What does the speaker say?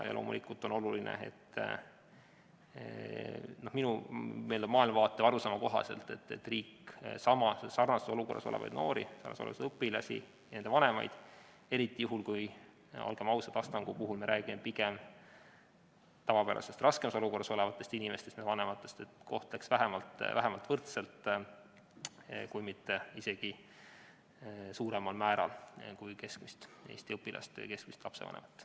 Ja loomulikult on oluline, vähemalt minu maailmavaate või arusaama kohaselt, et riik kohtleks samas või sarnases olukorras olevaid noori, õpilasi ja nende vanemaid – eriti juhul kui me räägime nagu Astangu puhul, olgem ausad, pigem tavapärasest raskemas olukorras olevatest inimestest – vähemalt võrdselt, toetades neid pigem isegi suuremal määral kui keskmist õpilast või keskmist lapsevanemat.